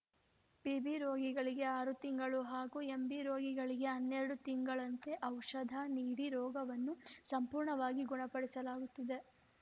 PB ರೋಗಿಗಳಿಗೆ ಆರು ತಿಂಗಳು ಹಾಗೂ ಎಂಬಿ ರೋಗಿಗಳಿಗೆ ಹನ್ನೆರಡು ತಿಂಗಳಂತೆ ಔಷಧ ನೀಡಿ ರೋಗವನ್ನು ಸಂಪೂರ್ಣವಾಗಿ ಗುಣಪಡಿಸಲಾಗುತ್ತಿದೆ